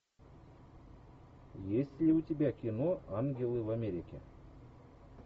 есть ли у тебя кино ангелы в америке